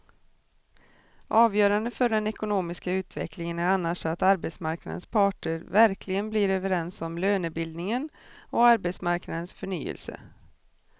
Avgörande för den ekonomiska utvecklingen är annars att arbetsmarknadens parter verkligen blir överens om lönebildningen och arbetsmarknadens förnyelse.